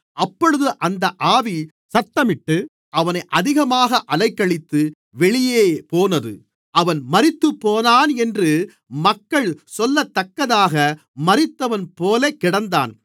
அப்பொழுது அந்த ஆவி சத்தமிட்டு அவனை அதிகமாக அலைக்கழித்து வெளியேபோனது அவன் மரித்துப்போனான் என்று மக்கள் சொல்லத்தக்கதாக மரித்தவன்போல கிடந்தான்